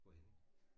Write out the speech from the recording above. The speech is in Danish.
Hvorhenne?